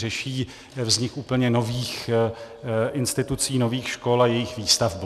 Řeší vznik úplně nových institucí, nových škol a jejich výstavbu.